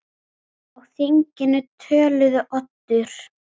Á þinginu töluðu Oddur